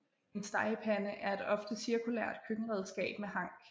En stegepande er et ofte cirkulært køkkenredskab med hank